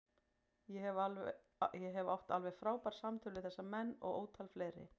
Ég hef átt alveg frábær samtöl við þessa menn og ótal fleiri.